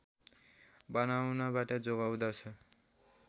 बनाउनबाट जोगाउँदछ